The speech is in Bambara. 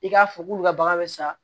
I k'a fɔ k'olu ka bagan bɛ sa